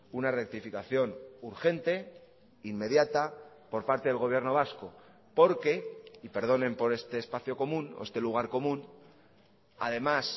una rectificación urgente inmediata por parte del gobierno vasco porque y perdonen por este espacio común o este lugar común además